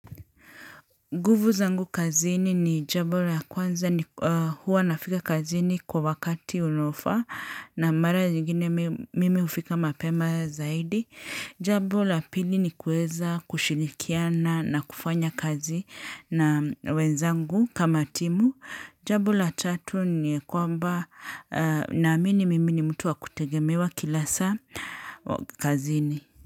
Nguvu zangu kazini ni jambo la ya kwanza ni huwa nafika kazini kwa wakati unofaa na mara nyingine mimi ufika mapema zaidi. Jambo la pili ni kuweza kushirikiana na kufanya kazi na wenzangu kama timu. Jambo la tatu ni kwamba naamini mimi ni mtu wa kutegemewa kila saa kazini.